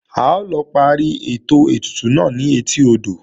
A lọ parí ètò ètùtù náà ni etí odò